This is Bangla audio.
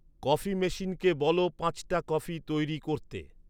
কফি মেশিনকে বল পাঁচটা কফি তৈরি করতে